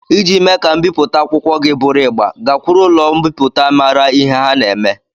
Iji mee ka mbipụta akwụkwọ gị bụrụ igba, gakwuru ụlọ mbipụta mara ihe ha na-eme.